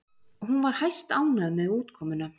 Hún var hæstánægð með útkomuna